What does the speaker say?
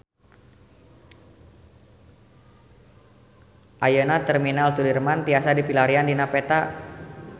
Ayeuna Terminal Sudirman tiasa dipilarian dina peta